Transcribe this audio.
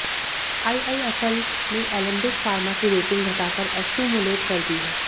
IIFL ने Alembic pharma की rating घटाकर एक्युमुलेट कर दी है